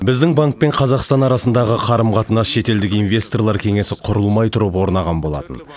біздің банк пен қазақстан арасындағы қарым қатынас шетелдік инвесторлар кеңесі құрылмай тұрып орнаған болатын